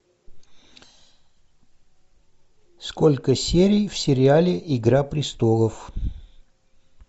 сколько серий в сериале игра престолов